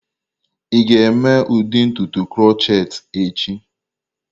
Ị ga-eme ụdị ntutu krokhet echi?